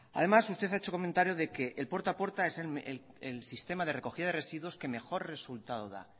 además usted ha hecho comentario de que el puerta a puerta es el sistema de recogida de residuos que mejor resultado da